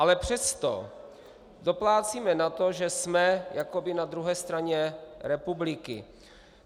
Ale přesto doplácíme na to, že jsme jakoby na druhé straně republiky.